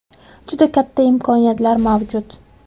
Juda katta imkoniyatlar mavjud.